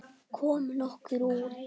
Komum okkur út.